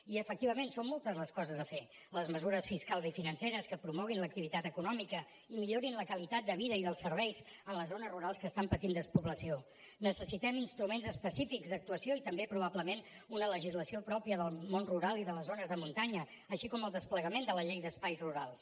i efectivament són moltes les coses a fer les mesures fiscals i financeres que promoguin l’activitat econòmica i millorin la qualitat de vida i dels serveis en les zones rurals que estan patint despoblació necessitem instruments específics d’actuació i també probablement una legislació pròpia del món rural i de les zones de muntanya així com el desplegament de la llei d’espais rurals